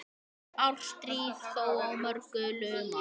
Árstíð þó á mörgu lumar.